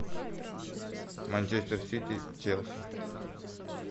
манчестер сити челси